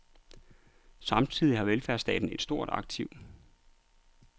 Samtidig har velfærdsstaten et stort aktiv.